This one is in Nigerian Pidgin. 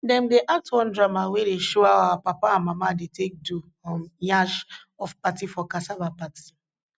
dem dey act one drama wey dey show how our papa and mama dey take do um nyash of plant for cassava party